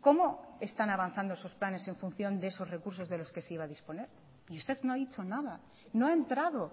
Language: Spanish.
cómo están avanzando esos planes en función de esos recursos de los que se iba a disponer y usted no ha dicho nada no ha entrado